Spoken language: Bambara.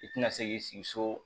I tɛna se k'i sigi so